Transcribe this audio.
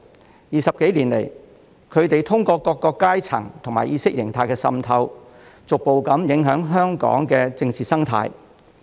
過去20多年來，他們通過各階層和意識形態滲透，逐步影響香港的政治生態。